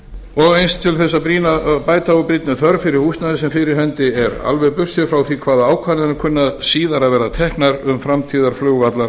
og eins til þess að bæta úr brýnni þörf fyrir húsnæði sem fyrir hendi er alveg burséð frá því hvaða ákvarðanir kunna síðar að verða teknar um